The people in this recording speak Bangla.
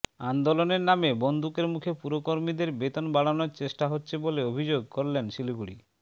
আন্দোলনের নামে বন্দুকের মুখে পুরকর্মীদের বেতন বাড়ানোর চেষ্টা হচ্ছে বলে অভিযোগ করলেন শিলিগুড়ি